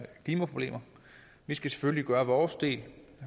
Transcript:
klimaproblemer vi skal selvfølgelig gøre vores del